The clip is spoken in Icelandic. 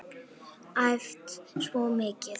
Æft svo mikið.